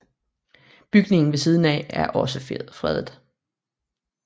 Bygningen ved siden af er også fredet